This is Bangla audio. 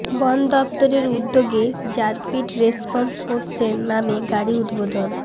বন দফতরের উদ্যোগে র্যাপিড রেসপন্স ফোর্সের নামে গাড়ি উদ্বোধন